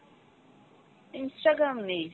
instagram নেই।